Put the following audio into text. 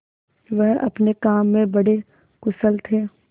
वह अपने काम में बड़े कुशल थे